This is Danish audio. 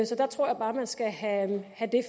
jeg tror bare man skal have det